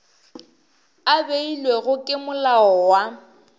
a beilwego ke molao wa